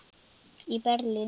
í Berlín.